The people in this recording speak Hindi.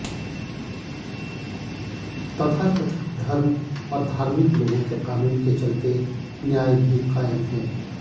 तथाकथित धर्म और धार्मिक लोगों के कानून के चलते न्याया भी कायम है